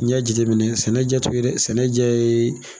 N'i y'a jateminɛ sɛnɛ jɛ t'o ye dɛ sɛnɛ jɛ yee